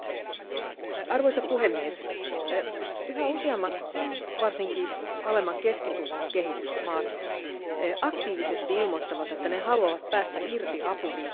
Arvoisa puhemies, yhä useammat varsinkin alemman keskitulon kehitysmaat aktiivisesti ilmoittavat, että ne haluavat päästä irti apuriippuvuudesta.